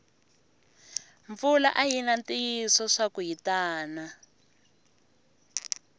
mpfula ayina ntiyiso swaku yitana